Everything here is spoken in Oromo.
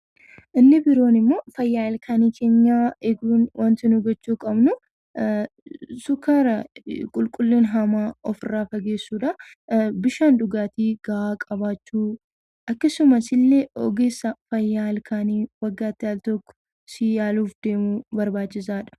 Inni biroon immoo fayyaa ilkaan keenyaa eeguun waanti nuyi gochuuu qabnu sukkaara qulqullina hamaa ofirraa fageessuudha. Bishaan dhugaatii gahaa qabaachuu akkasumas illee ogeessa fayyaa ilkaanii waggaatti al tokko si yaaluuf deemu barbaachisaadha.